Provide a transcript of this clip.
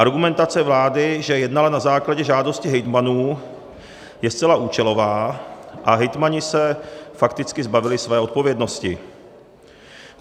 Argumentace vlády, že jednala na základě žádosti hejtmanů, je zcela účelová, a hejtmani se fakticky zbavili své odpovědnosti.